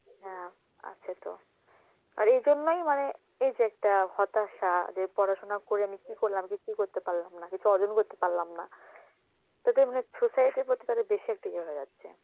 হ্যাঁ আছে তো. আর এই জন্যেই মানে এই যে একটা হতাশা, যে পড়াশোনা করে আমি কি করলাম, কিছুই করতে পারলাম না, কিছু অর্জন করতে পারলাম না. তাতেই মনে হয় suicide এর প্রতি তারা বেশে একটা ইয়ে হয়ে যাচ্ছে.